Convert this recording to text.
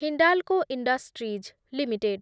Hindalco industries limited